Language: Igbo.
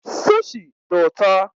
Sushi dị ụtọ